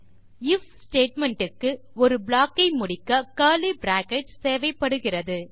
if statement க்கு ஒரு block ஐ முடிக்க கர்லி பிராக்கெட்ஸ் தேவைப்படுகிறது